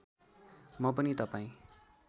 म पनि तपाईँ